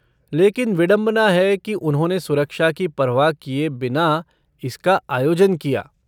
लेकिन विडम्बना है कि उन्होंने सुरक्षा की परवाह किए बिना इसका आयोजन किया।